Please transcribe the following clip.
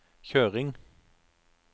kjøring